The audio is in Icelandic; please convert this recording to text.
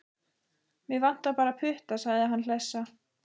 Mig vantar bara putta, sagði hann hlessa.